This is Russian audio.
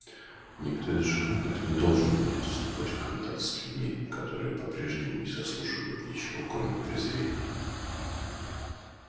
никто из животных не должен будет вступать в контакт с людьми которые по-прежнему не заслуживают ничего кроме презрения